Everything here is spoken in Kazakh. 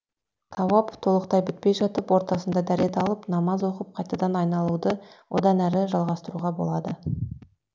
тауап толық бітпей жатып ортасында дәрет алып намаз оқып қайтадан айналуды одан әрі жалғастыруға болады